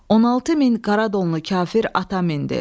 16 min qara donlu kafir ata mindi.